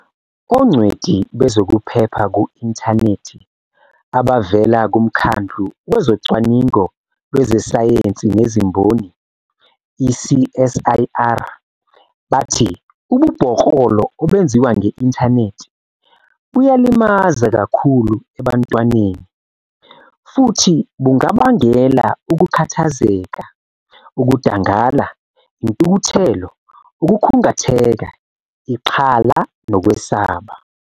Ongcweti bezokuphepha ku-inthanethi abavela kuMkhandlu Wezocwaningo Lwezesayensi Nezimboni, i-CSIR, bathi ububhoklolo obenziwa nge-inthanethi buyalimaza kakhulu ebantwaneni futhi bungabangela ukukhathazeka, ukudangala, intukuthelo, ukukhungatheka, ixhala nokwesaba.